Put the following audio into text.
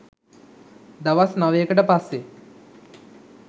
දවස් නවයකට පස්සේ